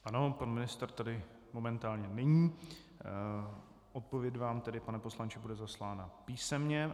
Ano, pan ministr tady momentálně není, odpověď vám tedy, pane poslanče, bude zaslána písemně.